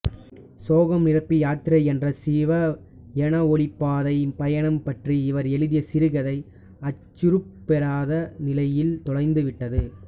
சோகம் நிரம்பி யாத்திரை என்ற சிவனெளிபாதமலை பயணம் பற்றி இவர் எழுதிய சிறுகதை அச்சுருப்பெறாத நிலையில் தொலைந்துவிட்டது